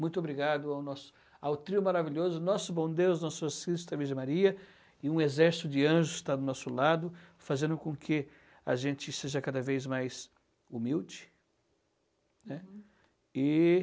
Muito obrigado ao nosso ao trio maravilhoso, nosso bom Deus, nosso a Virgem Maria, e um exército de anjos que está do nosso lado, fazendo com que a gente seja cada vez mais humilde. Né? E...